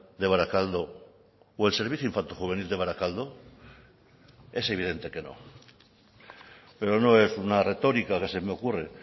de barakaldo o el servicio infantojuvenil de barakaldo es evidente que no pero no es una retórica que se me ocurre